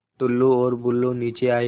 टुल्लु और बुल्लु नीचे आए